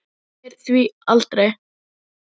Lilla lús sem étur mús.